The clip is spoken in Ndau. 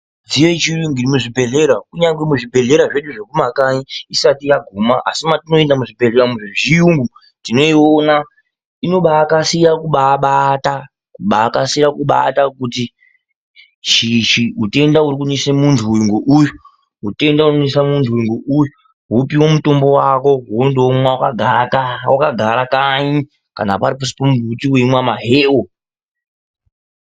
Midziyo yechirungu yemuzvibhedhlera kunyari zvibhedhlera zvedu zvekumakanyi isati yaguma asi matinoenda umu muzvibhedhlera zvechiyungu tinoona inobakasira kubabata kukasira kubata kuti utenda ukunetsa muntu uyu ngouyu mutenda unonesa muntu uyu ngouyu wopiwa mutombo wako wondomwa wakagara kanyi kana pari pasi pemuti weimwa maheu.